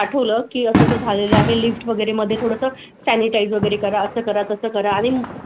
आठवलं की असं झालेलं आहे लिफ्ट वगैरे मध्ये थोडंसं सॅनिटाइज वगैरे करा असं करा तसं करा आणि. तर आम्ही आत मध्येच आम्ही लिफ्ट मध्ये म्हणजे आम्ही सगळे.